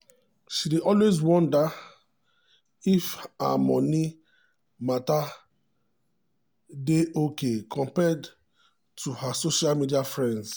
she dey always wonder if her moni matter dey okay compared to her social media friends.